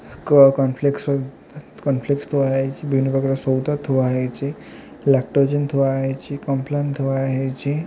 କୋ cornflakes cornflakes ଥୁଆ ହେଇଚି। ବିଭିନ୍ନ ପ୍ରକାର ସଉଦା ଥୁଆ ହେଇଚି ଲାକ୍ଟୋଜେନ ଥୁଆ ହେଇଚି କମ୍ପଲାନ୍ ଥୁଆ ହେଇଚି।